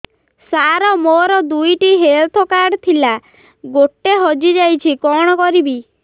ସାର ମୋର ଦୁଇ ଟି ହେଲ୍ଥ କାର୍ଡ ଥିଲା ଗୋଟେ ହଜିଯାଇଛି କଣ କରିବି